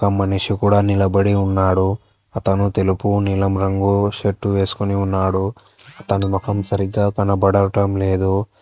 మనిషి కూడా నిలబడి ఉన్నాడు అతను తెలుపు నీలం రంగు షర్ట్ వెస్కొని ఉన్నాడు తను మొఖం సరిగ్గా కనబడటం లేదు.